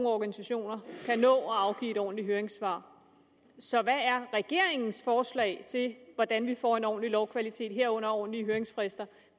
organisationer kan nå at afgive et ordentligt høringssvar så hvad er regeringens forslag til hvordan vi får en ordentlig lovkvalitet herunder ordentlige høringsfrister